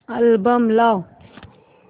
album लाव